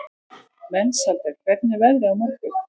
Mensalder, hvernig er veðrið á morgun?